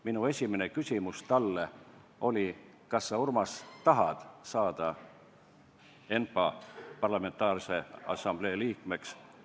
Minu esimene küsimus talle oli: "Kas sa, Urmas, tahad saada ENPA liikmeks?